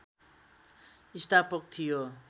स्थापक थियो